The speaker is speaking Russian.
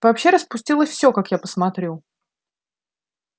вообще распустилось всё как я посмотрю